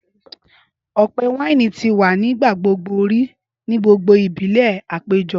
Ọpẹ waini ti wa ni nigbagbogbo ri ni gbogbo ibile apejo.